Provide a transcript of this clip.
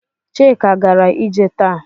Chika gara ije taa.